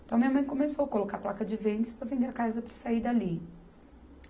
Então, minha mãe começou colocar placa de vende-se para vender a casa para sair dali.